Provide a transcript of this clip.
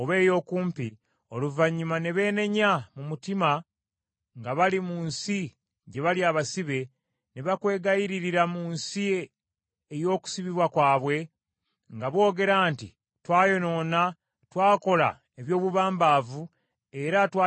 oluvannyuma ne beenenya mu mutima nga bali mu nsi gye bali abasibe, ne bakwegayiririra mu nsi ey’okusibibwa kwabwe nga boogera nti, ‘Twayonoona, twakola eby’obubambavu, era twagira ekyejo,’